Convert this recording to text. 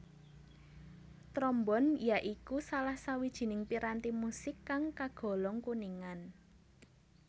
Trombon ya iku salah sawijining piranti musik kang kagolong kuningan